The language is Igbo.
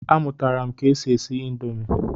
A mụtara m ke e si esi indomi.